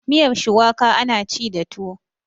miyar shuwaka ana ci da tuwo